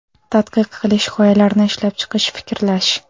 Tadqiq qilish, g‘oyalarni ishlab chiqish, fikrlash.